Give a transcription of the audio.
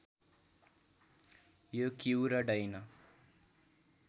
यो क्यु र डैन